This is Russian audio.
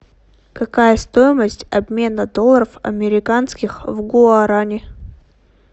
какая стоимость обмена долларов американских в гуарани